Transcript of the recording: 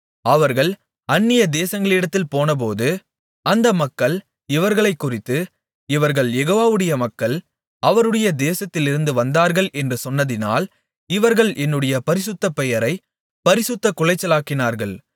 அவர்கள் அந்நியதேசங்களிடத்தில் போனபோது அந்த மக்கள் இவர்களைக்குறித்து இவர்கள் யெகோவாவுடைய மக்கள் அவருடைய தேசத்திலிருந்து வந்தார்கள் என்று சொன்னதினால் இவர்கள் என்னுடைய பரிசுத்தபெயரைப் பரிசுத்தக்குலைச்சலாக்கினார்கள்